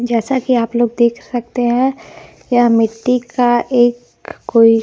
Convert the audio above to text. जैसा कि आप लोग देख सकते हैं यह मिट्टी का एक कोई--